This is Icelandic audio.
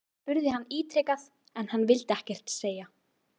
Ég spurði hann ítrekað en hann vildi ekkert segja???